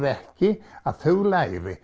ekki að þau læri